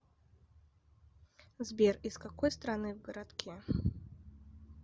сбер из какой страны в городке